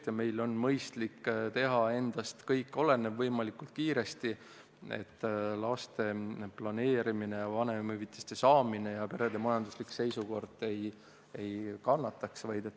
Nüüd meil on mõistlik teha kõik endast olenev võimalikult kiiresti, et laste planeerimine, vanemahüvitise saamine ja perede majanduslik olukord ei kannataks.